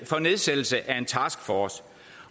for nedsættelse af en taskforce